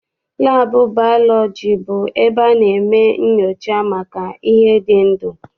Laabụ baalọji bụ ebe a na-eme nnyocha maka ihe dị ndụ.